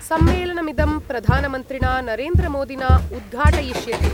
सम्मेलनमिदं प्रधानमन्त्रिणा नरेन्द्रमोदिना उद्घाटयिष्यते।